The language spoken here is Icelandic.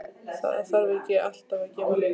Það þarf ekki alltaf að gefa lyf.